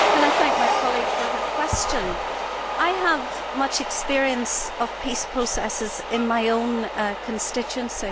I would like to thank my colleague for her question. I have much experience of peace processes in my own constituency.